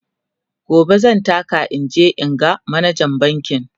gobe zan taka in je in ga manajan bankin